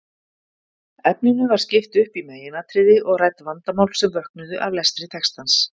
Efninu var skipt upp í meginatriði og rædd vandamál sem vöknuðu af lestri textans.